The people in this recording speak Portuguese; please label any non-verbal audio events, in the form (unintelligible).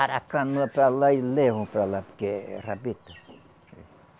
(unintelligible) a canoa para lá e levam para lá, porque é é rabeta.